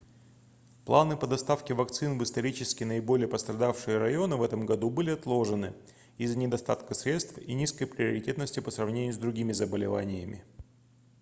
планы по доставке вакцин в исторически наиболее пострадавшие районы в этом году были отложены из-за недостатка средств и низкой приоритетности по сравнению с другими заболеваниями